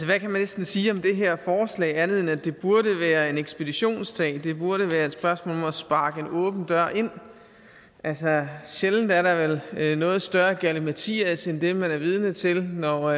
hvad kan man næsten sige om det her forslag andet end at det burde være en ekspeditionssag det burde være et spørgsmål om at sparke en åben dør ind altså sjældent er der vel noget større galimatias end det man er vidne til når